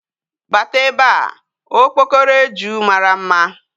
Bata ebe a! Okpokoro eju mara mma.